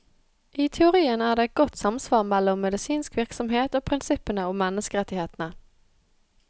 I teorien er det et godt samsvar mellom medisinsk virksomhet og prinsippene om menneskerettighetene.